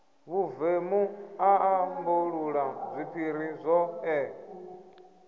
vhuvemu a ambulula zwiphiri zwoṱhe